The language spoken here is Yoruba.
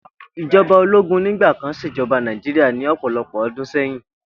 Ijoba ologun nigba kan sejoba Nàìjíríà ni opolopo odun seyin.